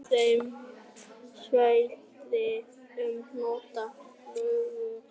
Af þeim svæðum sem njóta sögulegrar frægðar er